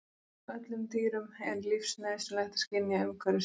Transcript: Öllum dýrum er lífsnauðsynlegt að skynja umhverfi sitt.